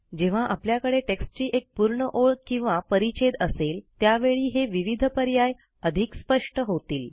जेव्हा आपल्याकडे टेक्टची एक पूर्ण ओळ किंवा परिच्छेद असेल त्यावेळी हे विविध पर्याय अधिक स्पष्ट होतील